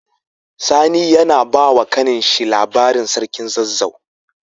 Sani yAna bawa kanin shi labarin sarkin zazzau